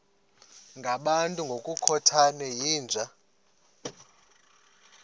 ngabantu ngokukhothana yinja